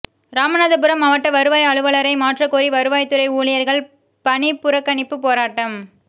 ராமநாதபுரம் மாவட்ட வருவாய் அலுவலரை மாற்றக் கோரி வருவாய்த்துறை ஊழியா்கள் பணிப்புறக்கணிப்பு போராட்டம்